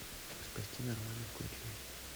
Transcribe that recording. спасти нормана включи